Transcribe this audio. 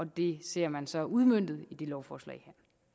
det ser man så udmøntet i det her lovforslag